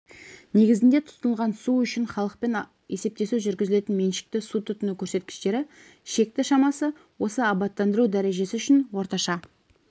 негізінде тұтынылған су үшін халықпен есептесу жүргізілетін меншікті су тұтыну көрсеткіштері шекті шамасы осы абаттандыру дәрежесі үшін орташа